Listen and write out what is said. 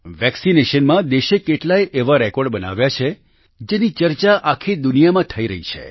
vaccination માં દેશે કેટલાયે એવા રેકોર્ડ બનાવ્યા છે જેની ચર્ચા આખી દુનિયામાં થઈ રહી છે